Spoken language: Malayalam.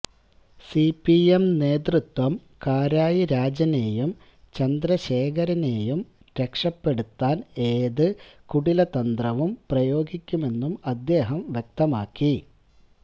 സിപിഎം നേതൃത്വം കാരായി രാജനെയും ചന്ദ്രശേഖരനെയും രക്ഷപ്പെടുത്താന് ഏത് കുടില തന്ത്രവും പ്രയോഗിക്കുമെന്നും അദ്ദേഹം വ്യക്തമാക്കി